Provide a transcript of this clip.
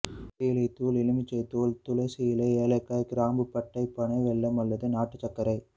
தேயிலை தூள் எலுமிச்சை தோல் துளசி இலை ஏலக்காய் கிராம்பு பட்டை பனை வெல்லம் அல்லது நாட்டுச் சர்க்கரை